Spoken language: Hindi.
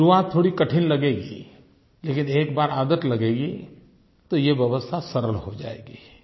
शुरुआत थोड़ी कठिन लगेगी लेकिन एक बार आदत लगेगी तो ये व्यवस्था सरल हो जायेगी